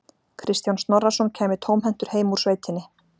Kristján Snorrason kæmi tómhentur heim úr sveitinni.